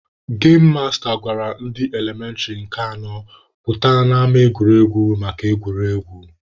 Gem masta gwara ndị elementịrị nke anọ pụta n'ama egwuregwu maka egwuregwu.